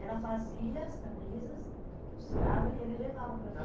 Ela fazia as camisas, costurava e ele levava para